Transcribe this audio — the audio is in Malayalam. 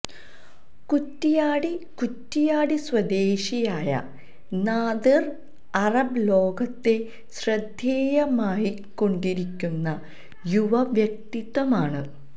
കുറ്റിയാടി കുറ്റിയാടി സ്വദേശിയായ നാദിര് അറബ് ലോകത്തെ ശ്രദ്ദേയമായിക്കൊണ്ടിരിക്കുന്ന യുവവ്യക്തിതആമാണ്